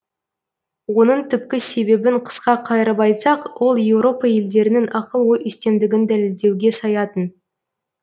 оның түпкі себебін қысқа қайырып айтсақ ол еуропа елдерінің акыл ой үстемдігін дәлелдеуге саятын